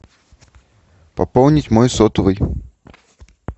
пополнить мой сотовый